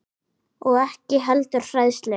Og ekki heldur hræðslu